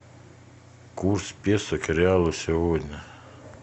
курс песо к реалу сегодня